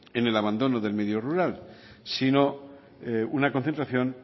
en el abandono del medio rural sino una concentración